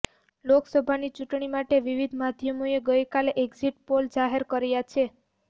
લોકસભાની ચૂટણી માટે વિવિધ માધ્યમોએ ગઈકાલે એક્ઝિટ પોલ જાહેર કર્યા છે